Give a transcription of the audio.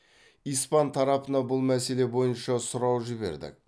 испан тарапына бұл мәселе бойынша сұрау жібердік